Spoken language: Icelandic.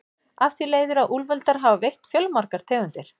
Af því leiðir að úlfar hafa veitt fjölmargar tegundir.